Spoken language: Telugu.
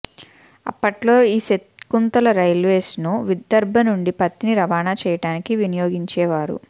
అప్పట్లో ఈ శకుంతలరైల్వేస్ను విదర్భా నుండి పత్తిని రవాణా చేయడానికి వినియోగించే వారు